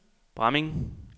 Bramming